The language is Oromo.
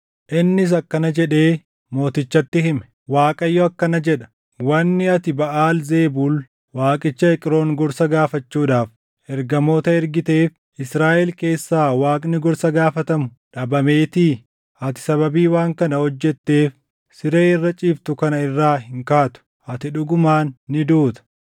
Innis akkana jedhee mootichatti hime; “ Waaqayyo akkana jedha: Wanni ati Baʼaal Zebuul waaqicha Eqroon gorsa gaafachuudhaaf ergamoota ergiteef Israaʼel keessaa Waaqni gorsa gaafatamu dhabameetii? Ati sababii waan kana hojjetteef siree irra ciiftu kana irraa hin kaatu. Ati dhugumaan ni duuta!”